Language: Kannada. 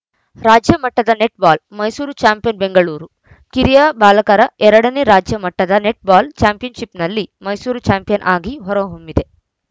ರಾಜ್ಯ ಮಟ್ಟದ ನೆಟ್‌ಬಾಲ್‌ ಮೈಸೂರು ಚಾಂಪಿಯನ್‌ ಬೆಂಗಳೂರು ಕಿರಿಯ ಬಾಲಕರ ಎರಡನೇ ನೇ ರಾಜ್ಯ ಮಟ್ಟದ ನೆಟ್‌ಬಾಲ್‌ ಚಾಂಪಿಯನ್‌ಶಿಪ್‌ನಲ್ಲಿ ಮೈಸೂರು ಚಾಂಪಿಯನ್‌ ಆಗಿ ಹೊರಹೊಮ್ಮಿದೆ